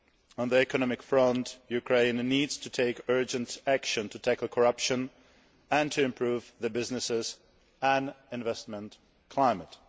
On the economic front, Ukraine needs to take urgent action to tackle corruption and to improve the business and investment climate.